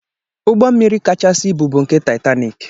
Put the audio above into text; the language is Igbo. Ụgbọmmiri kachasị ibu bụ nke taitanik.